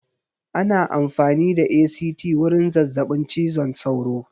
Ana amfani da ACT wurin zazzaɓin cizon sauro